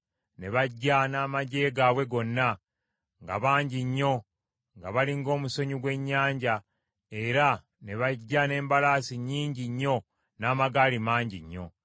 Ne bajja, n’amaggye gaabwe gonna, nga bangi nnyo nga bali ng’omusenyu gw’ennyanja, era ne bajja n’embalaasi nnyingi nnyo n’amagaali mangi nnyo.